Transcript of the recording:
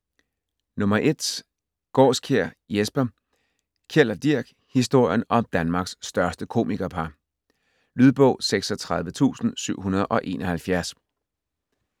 Gaarskjær, Jesper: Kjeld & Dirch: historien om Danmarks største komikerpar Lydbog 36771